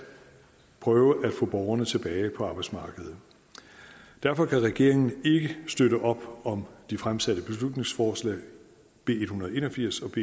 prøve at få borgerne tilbage på arbejdsmarkedet derfor kan regeringen ikke støtte op om de fremsatte beslutningsforslag b en hundrede og en og firs og